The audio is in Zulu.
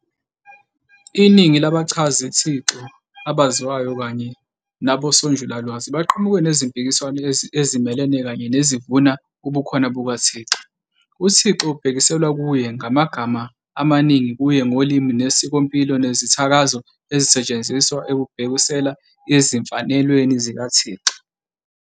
Iningi labachazithixo abaziwayo kanye nabosonjulalwazi baqhamuke nezimpikiswano ezimelene kanye nezivuna ubukhona bukaThixo. UThixo kubhekiselwa kuye ngamagama amaningi kuye ngolimi nesikompilo nezithakazo ezisetshenziswa ekubhekisela ezimfanelweni zikaThixo.